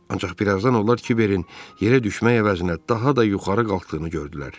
Ancaq birazdan onlar kiverin yerə düşmək əvəzinə daha da yuxarı qalxdığını gördülər.